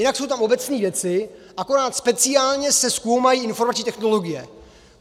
Jinak jsou tam obecné věci, akorát speciálně se zkoumají informační technologie.